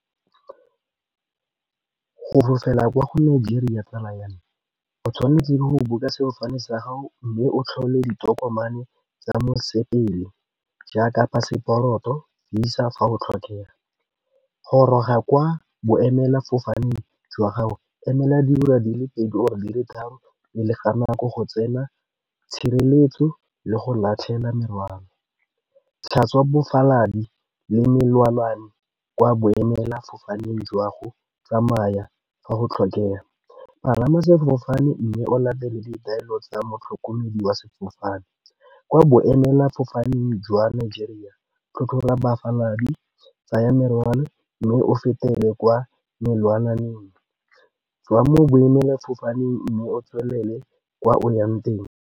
Go fofela kwa gonne Nigeria tsala ya me o tshwanetse go buka sefofane sa gago mme o tlhole ditokomane tsa mosepele jaaka phaseporoto, Visa fa go tlhokega. Goroga kwa boemelafofaneng jwa gago, emela diura di le pedi or-e di le tharo pele ga nako go tsena tshireletso le go latlhela merwalo, tlhatswa le melelwane kwa boemelafofaneng jwago, tsamaya fa go tlhokega. Palama sefofane mme o latele ditaelo tsa motlhokomedi wa sefofane, kwa boemelafofaneng jwa Nigeria, tlhotlhora bafaladi, tsaya merwalo mme o fetele kwa melelwane tswaya mo boemelafofaneng mme o tswelele kwa o yang teng.